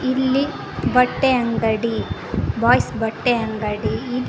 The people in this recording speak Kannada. ಇಲ್ಲಿ ಬಟ್ಟೆ ಅಂಗಡಿ ಬಾಯ್ಸ್ ಬಟ್ಟೆ ಅಂಗಡಿ--